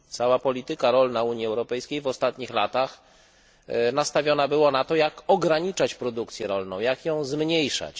Cała polityka rolna Unii Europejskiej w ostatnich latach nastawiona była na to jak ograniczać produkcję rolną, jak ją zmniejszać.